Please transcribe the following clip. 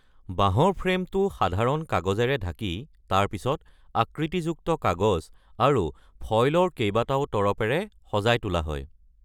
বাঁহৰ ফ্ৰেমটো সাধাৰণ কাগজেৰে ঢাকি তাৰ পিছত আকৃতিযুক্ত কাগজ আৰু ফয়লৰ কেইবাটাও তৰপেৰে সজাই তোলা হয়।